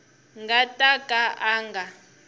nga ta ka a nga